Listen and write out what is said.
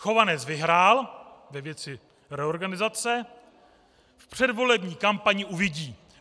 Chovanec vyhrál ve věci reorganizace, v předvolební kampani uvidí."